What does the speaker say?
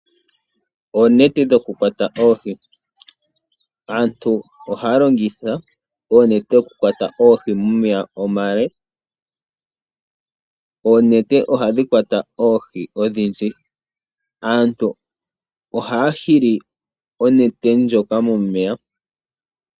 Oonete dhokukwata oohi Aantu ohaya longitha oonete okukwata oohi momeya omale. Oonete ohadhi kwata oohi odhindji. Aantu ohaya hili onete ndjoka momeya.